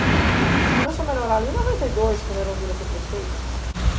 A gente começou a melhorar ali em noventa e dois, quando a Erundina foi prefeita.